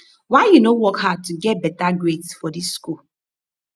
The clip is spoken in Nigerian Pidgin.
why you no wan work hard to get better grades for dis school